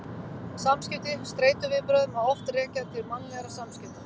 Samskipti Streituviðbrögð má oft rekja til mannlegra samskipta.